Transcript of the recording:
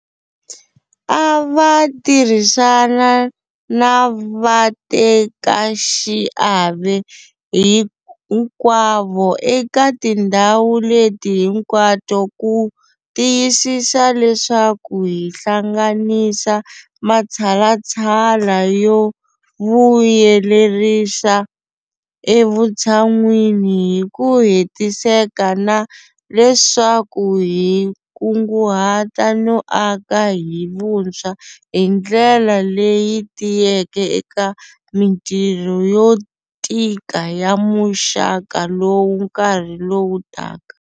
A va tirhisana na vatekaxiave hinkwavo eka tindhawu leti hinkwato ku tiyisisa leswaku hi hlanganisa matshalatshala yo vuyelerisa evutshan'wini hi ku hetiseka na leswaku hi kunguhata no aka hi vuntshwa hi ndlela leyi tiyeke eka mitirho yo tika ya muxaka lowu nkarhi lowu taka.